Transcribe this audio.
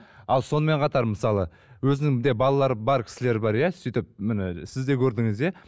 ал сонымен қатар мысалы өзінің де балалары бар кісілер бар иә сөйтіп міне сіз де көрдіңіз иә